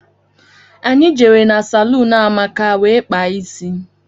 Anyị jere na salún Amaka wee kpaa isi.